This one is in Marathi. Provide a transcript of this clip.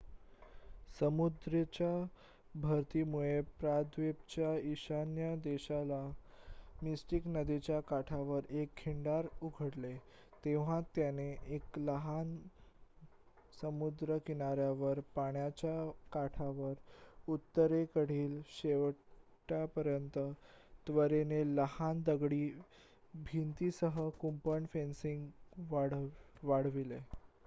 समुद्राच्या भरतीमुळे प्रायद्वीपच्या ईशान्य दिशेला मिस्टिक नदीच्या काठावर एक खिंडार उघडले तेव्हा त्यांनी एका लहान समुद्रकिनार्‍यावर पाण्याच्या काठावर उत्तरेकडील शेवटापर्यंत त्वरेने लहान दगडी भिंतीसह कुंपण/फेन्सिंग वाढविले